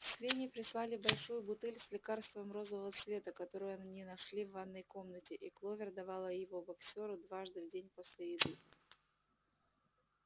свиньи прислали большую бутыль с лекарством розового цвета которую они нашли в ванной комнате и кловер давала его боксёру дважды в день после еды